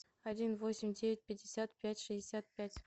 один восемь девять пятьдесят пять шестьдесят пять